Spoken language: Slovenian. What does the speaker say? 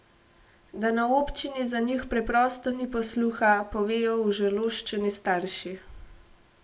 Da na občini za njih preprosto ni posluha, povejo užaloščeni starši.